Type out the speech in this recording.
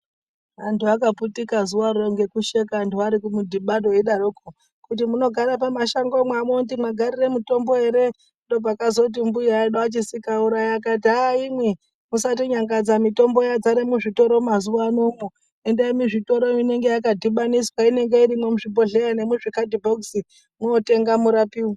Antu akaputika zuvaro ngekusheka anhu arikumudhibano eidaroko kuti munogara pamashangomo hamuoni kuti magarire mutombo ere. Ndoopakazoti mbuya edu aChisikurayi akati hah imwi musatinyangadza mutombo yadzare muzvitoro mazuvanomwo. Endai muzvitoro inenge yakadhibaniswa inenge irimwo muzvibhihleya nemuzvikadhibhokisi mootenga murapiwe.